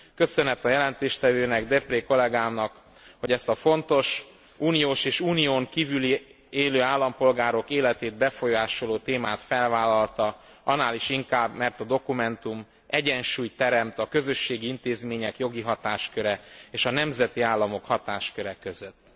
Köszönet a jelentéstevőnek Deprez, kollégának, hogy ezt a fontos uniós és unión kívül élő állampolgárok életét befolyásoló témát felvállalta, annál is inkább, mert a dokumentum egyensúlyt teremt a közösségi intézmények jogi hatásköre és a nemzeti államok hatásköre között.